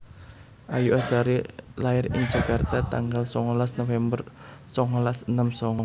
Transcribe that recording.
Ayu Azhari lair ing Jakarta tanggal songolas November songolas enem songo